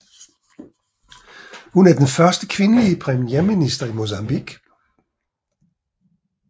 Hun er den første kvindelige premierminister i Mozambique